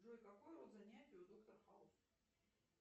джой какой род занятий у доктор хаус